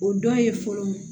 O dɔ ye fɔlɔ